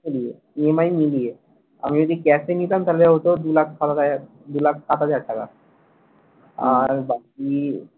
মিলিয়ে EMI মিলিয়ে আমি যদি cash এ নিতাম তাহলে হত দু লাখ সাতাশ হাজার টাকা দু লাখ ষাট হাজার টাকা আর বাকি